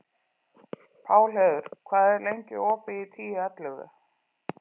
Pálheiður, hvað er lengi opið í Tíu ellefu?